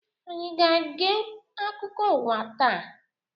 Anyị aga-ege akụkọ ụwa taa?